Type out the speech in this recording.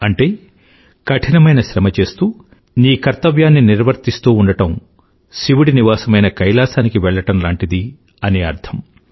అంటే కఠినమైన శ్రమ చేస్తూ నీ కర్తవ్యాన్ని నిర్వర్తిస్తూ ఉండడం శివుడి నివాసమైన కైలాసానికి వెళ్ళడం లాంటిది అని అర్థం